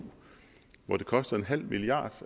hvor det koster nul milliard